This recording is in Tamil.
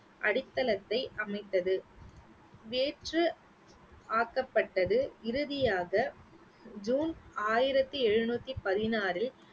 அடித்தளத்தை அமைத்தது வேற்று ஆக்கப்பட்டது இறுதியாக ஜூன் ஆயிரத்தி எழுநூத்தி பதினாறில்